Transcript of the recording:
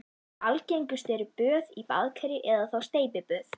Algengust eru böð í baðkeri eða þá steypiböð.